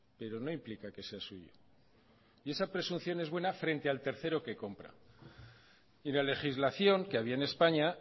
pero no implica que sea suyo y esa presunción es buena frente al tercero que compra y la legislación que había en españa